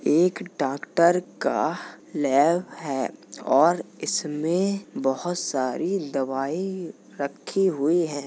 एक डॉक्टर का लैब है और इसमें बोहोत सारी दवाई रखी हुई हैं।